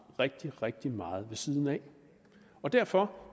rigtig rigtig meget ved siden af derfor